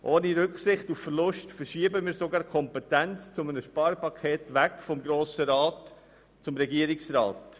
Ohne Rücksicht auf Verluste verschieben wir sogar die Kompetenz zum Erlass eines Sparpakets weg vom Grossen Rat hin zum Regierungsrat.